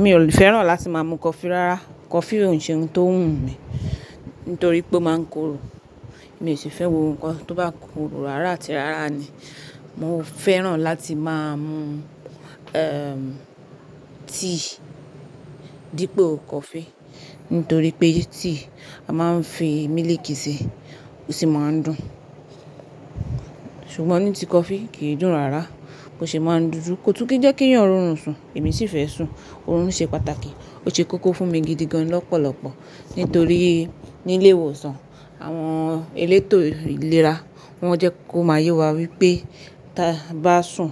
Mi ò fẹ́ràn láti má mú coffee rárá. Coffee òun ṣe ohun tó wùn mí nítorí pé ó má ń korò. Mi ò sì fẹ́ wo nǹkan tó bá korò rárá àti rárá ni. Mo fẹ́ràn láti má mú, tea dípo coffee nítorí pé tea a má ń fi mílìkì ṣe ó sì má ń dùn. Ṣùgbọ́n ní ti coffee kìí dùn rárá. Kò ṣe má ń dúdú, kò tún kí jẹ́ kí yan rorùn sùn, èmi sì fẹ́ sùn. Oòrùn ṣe pàtàkì, ó ṣe kókó fún mi gidigan lọ́pọ̀lọpọ̀. Nítorí ní ilé ìwòsàn àwọn elétò ìlera wọ́n jẹ́ kó má yé wa wípé tabá sùn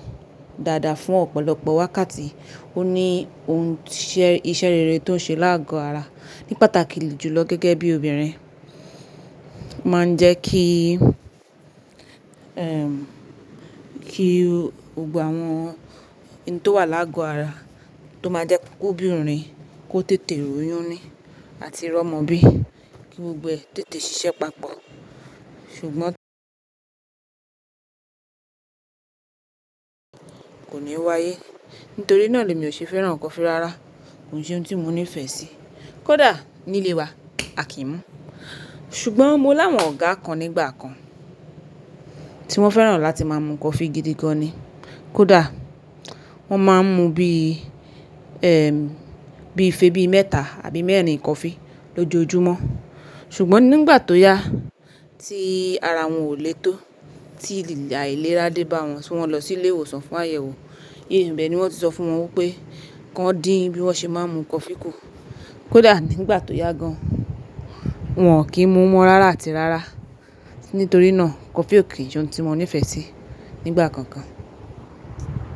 dáadáa fún ọ̀pọ̀lọpọ̀ wákàtí, ó ní ohun iṣẹ́ rere tó ń ṣe láàgọ ara ní pàtàkì jùlọ gẹ́gẹ́ bí obìnrin. Ma ń jẹ́ kí, kí gbogbo àwọn ohun tó wà láàgọ́ ara tó má jẹ́ ko obìnrin kó tètè royuni àti rọ́mọ bí. Kí gbogbo ẹ tètè ṣiṣẹ́ papọ̀. Ṣùgbọ́n kò ní wáyé. Nítorí náà le mi o ṣe fẹ́ràn coffee rárá. Ohun ṣe ohun tí mo nífẹ̀ẹ́ sí. Kódà nílé wa, a kì í mú. Ṣùgbọ́n mo láwọn ọ̀gá kan nígbà kan tí wọ́n fẹ́ràn láti má mú coffee gidigan ni. Kódà wọ́n má ń mú bí, bí ifèè bí mẹ́ta àbí mẹ́ẹ̀rín coffee lójoojúmọ́. Ṣùgbọ́n nígbà tó yá tí ara wọn ò lè tó, tí àìlera dé bá wọn só mó lọ sí ilé ìwòsàn fún àyẹ̀wò. Ibẹ ni wọ́n ti sọ fún wọn wípé ki wọ́n dín bí wọ́n ṣe má ń mú coffee kù. Kódà nígbà tó yá gan an wọ́n ò kí ń mú mọ́ rárá àti rárá. Nítorí náà coffee ò kí ì ohun tí mo nífẹ̀ẹ́ sí nígbà kankan.